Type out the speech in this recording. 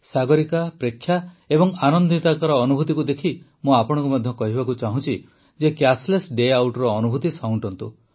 ସାଗରିକା ପ୍ରେକ୍ଷା ଓ ଆନନ୍ଦିତାଙ୍କ ଅନୁଭୂତିକୁ ଦେଖି ମୁଁ ଆପଣଙ୍କୁ ମଧ୍ୟ କହିବାକୁ ଚାହୁଁଛି ଯେ କ୍ୟାସ୍ଲେସ୍ ଡେ ଆଉଟ୍ର ଅନୁଭୂତି ସାଉଁଟନ୍ତୁ